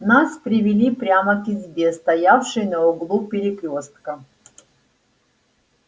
нас привели прямо к избе стоявшей на углу перекрёстка